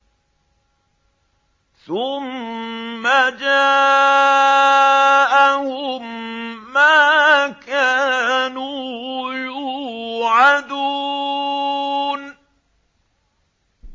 ثُمَّ جَاءَهُم مَّا كَانُوا يُوعَدُونَ